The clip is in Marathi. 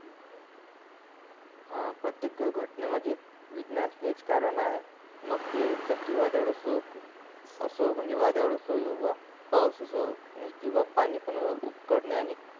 हा प्रत्येक घटने मध्ये विज्ञान हेच कारण आहे मग ते चक्री वादळ असो असो म्हणजे वादळ असो किव्हा पाऊस असो किव्हा पाणी उकलनाने